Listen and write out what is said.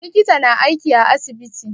Likita na aiki a asibiti